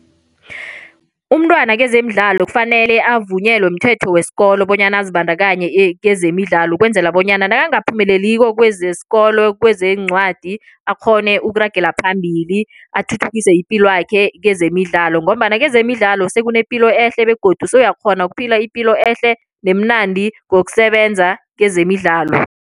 Umntwana kezemidlalo kufanele avunyelwe mthetho wesikolo bonyana azibandakanye kezemidlalo ukwenzela bonyana nangaphumeleliko kwezesikolo, kwezeencwadi akghone ukuragela phambili athuthukise ipilwakhe kezemidlalo ngombana kezemidlalo sekunepilo ehle begodu sowuyakghona ukuphila ipilo ehle nemnandi ngokusebenza kezemidlalo.